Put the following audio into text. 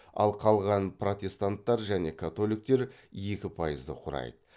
ал қалған протестанттар және католиктер екі пайызды құрайды